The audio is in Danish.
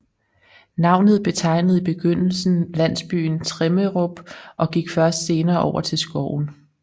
Navnet betegnede i beygndelsen landsbyen Tremmerup og gik først senere over til skoven